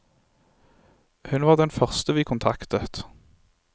Hun var den første vi kontaktet.